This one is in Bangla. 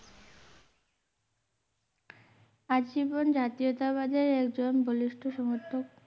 আজীবন জাতীয়তা বাদের একজন বলুস্ট সমর্থক